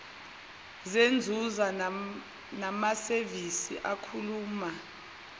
zenzuzo namasevisi akhuluma